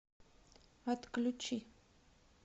отключи